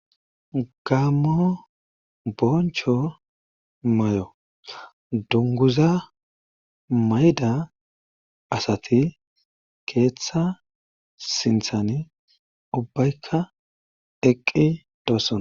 Gammo boncho may'o dunguza mayda asati keeththa sinthan ubbaykka eqqi doosson.